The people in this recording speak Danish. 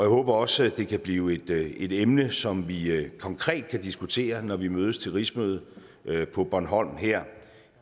håber også at det kan blive et emne som vi konkret kan diskutere når vi mødes til rigsmøde på bornholm her